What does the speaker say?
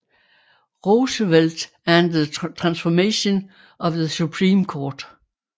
Roosevelt and the Transformation of the Supreme Court